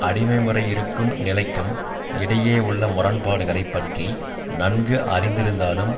அடிமை முறை இருக்கும் நிலைக்கும் இடையே உள்ள முரண்பாடுகளை பற்றி நன்கு அறிந்திருந்தாலும்